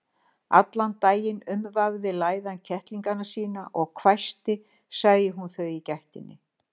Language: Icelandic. Allan daginn umvafði læðan kettlingana sína og hvæsti sæi hún þau í gættinni.